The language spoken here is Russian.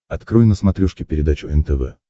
открой на смотрешке передачу нтв